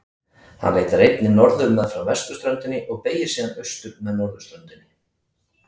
Hann leitar einnig norður meðfram vesturströndinni og beygir síðan austur með norðurströndinni.